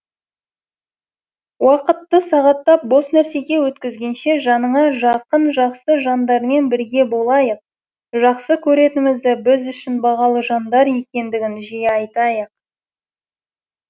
уақытты сағаттап бос нәрсеге өткізгенше жаныңа жақын жақсы жандармен бірге болайық жақсы көретінімізді біз үшін бағалы жандар екендігін жиі айтайық